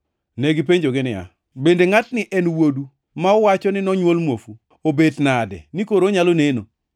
Ne gipenjogi niya, “Bende ngʼatni e wuodu ma uwacho ni nonywol muofu? Obet nade ni koro onyalo neno?”